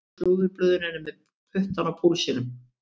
Ensku slúðurblöðin eru með puttann á púlsinum.